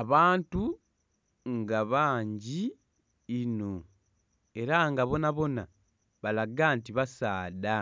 Abantu nga bangi inho era nga boonaboona balaga nti basaadha